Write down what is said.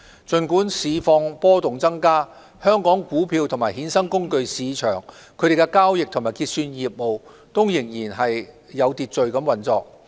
儘管市況波動增加，香港股票及衍生工具市場的交易及結算業務仍然有序運作。